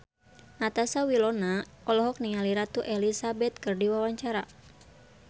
Natasha Wilona olohok ningali Ratu Elizabeth keur diwawancara